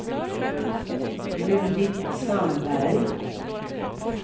Judit Sandberg